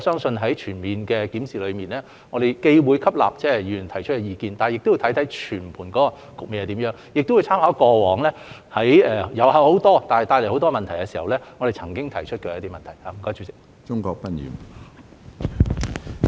就此，在檢視時，我們既會吸納議員提出的意見，亦會考慮全盤局面，並參考我們過往在遊客眾多帶來各種問題時提出的事項。